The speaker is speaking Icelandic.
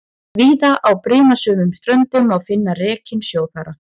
Víða á brimasömum ströndum má finna rekinn stórþara.